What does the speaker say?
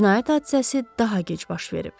Cinayət hadisəsi daha gec baş verib.